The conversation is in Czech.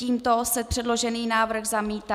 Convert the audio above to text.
Tímto se předložený návrh zamítá.